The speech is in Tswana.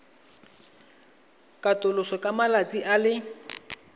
katoloswa ka malatsi a le